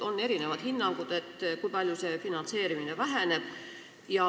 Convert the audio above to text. On erinevaid hinnanguid, kui palju finantseerimine väheneb.